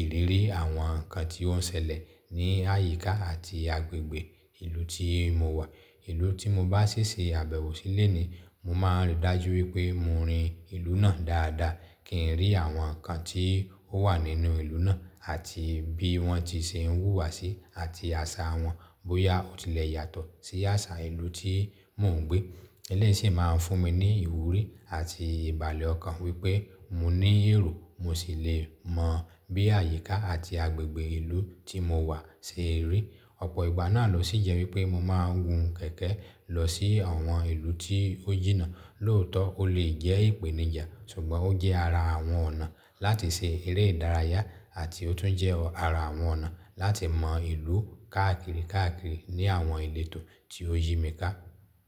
ìrírí àwọn nǹkan tí ó ń ṣẹlẹ̀ ní àyíká àti agbègbè ìlú tí mo wà. Ìlú tí mo bá ṣi ṣe àbẹ̀wò sí lónìí, mo máa rí dájú wípé mo rin ìlú náà dáadáa, kí n rí àwọn nǹkan tí ó wà nínú ìlú náà àti bí wọ́n ti ṣe ń wùwà sí, àti àṣà wọn bóyá ó tilẹ̀ yàtọ̀ sí àṣà ìlú tí mò ń gbé. Eléyìí ṣì máa ń fún mi ní ìwúrí àti ìbàlẹ̀ ọkàn wípé mo ní èrò, mo sì lè mọ̀ bí àyíká àti agbègbè ìlú tí mo wà ṣe rí. Ọ̀pọ̀ ìgbà náà ló sì jẹ́ wípé mo máa ń gun kẹ̀kẹ́ lọ sí àwọn ìlú tí ó jìnnà. Lóòótọ́, ó lè jẹ́ ìpèníjà, ṣùgbọ́n ó jẹ́ ara àwọn ọ̀nà láti ṣe eré ìdárayá àti ó tún jẹ́ ara àwọn ọ̀nà láti mọ ìlú káàkiri káàkiri ní àwọn ìletò tí ó yí mi ká.